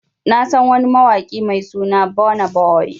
Na San wani mawaki Mai suna Burna Boy.